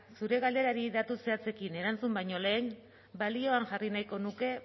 zure galderari datu zehatzekin erantzun baino lehen balioan jarri nahiko nuke